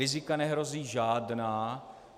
Rizika nehrozí žádná.